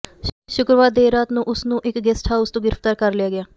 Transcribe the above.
ਸ਼ੁੱਕਰਵਾਰ ਦੇਰ ਰਾਤ ਨੂੰ ਉਸ ਨੂੰ ਇਕ ਗੈਸਟ ਹਾਊਸ ਤੋਂ ਗ੍ਰਿਫ਼ਤਾਰ ਕਰ ਲਿਆ ਗਿਆ